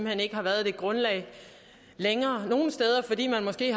hen ikke har været det grundlag længere nogle steder fordi man måske i